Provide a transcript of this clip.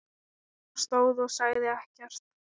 Bara stóð og sagði ekkert.